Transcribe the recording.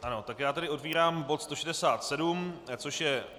Ano, tak já tedy otevírám bod 167, což je